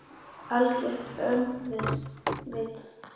Algert öngvit!